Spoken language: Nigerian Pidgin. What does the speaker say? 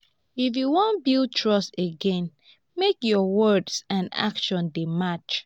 if you wan build trust again make your words and actions dey match.